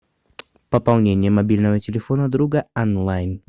пополнение мобильного телефона друга онлайн